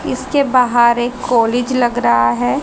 किसके बहार एक कॉलेज लग रहा है।